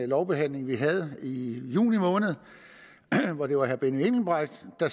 lovbehandling vi havde i juni måned det var herre benny engelbrecht der